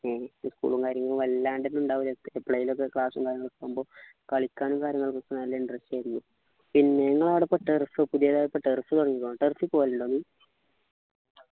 ഈ school ഉം കാര്യങ്ങളും വല്ലണ്ടൊന്നും ഉണ്ടാവൂല്ലല്ലോ എപ്പോളേലും class ഉം കാര്യങ്ങളൊക്കെ ആവുമ്പൊ കളിക്കാനും കാര്യങ്ങൾക്കൊക്കെ നല്ല interest ആയിരുന്നു പിന്നെ നിങ്ങളാട പ്പോ turf പുതിയതായി ഇപ്പൊ turf തുടങ്ങീക്കുണോ turf ൽ പോകലുണ്ടോ നീ